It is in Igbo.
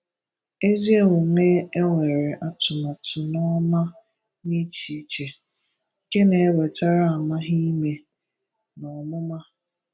Ézí omume e nwere atụmátụ n’ọ́má n’échíché, nke na-ewètara amahịmè na ọmụ́mà.